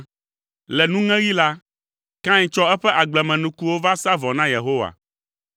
Le nuŋeɣi la, Kain tsɔ eƒe agblemenukuwo sa vɔ na Yehowa,